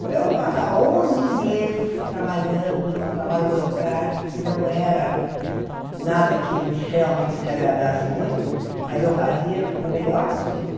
Então, eu passava onze meses trabalhando trabalho burocrático, que não era nada que realmente me agradasse muito, mas eu fazia o melhor possível.